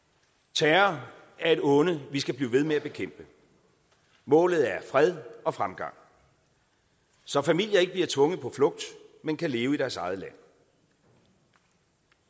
terror er et onde vi skal blive ved med at bekæmpe målet er fred og fremgang så familier ikke bliver tvunget på flugt men kan leve i deres eget land